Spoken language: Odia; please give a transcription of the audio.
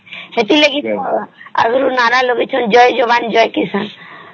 ସେଥିଲାଗି ତ ଏ ନର ଲଗେଇଛ ଜୟ ଯବାନ ଜୟ କିଷାନ